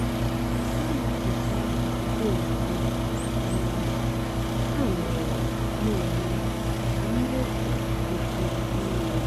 á nà-hicha ntụpọ ozugbo um hà mére nà-èmè kà mwepụ dịkwúó ìrè.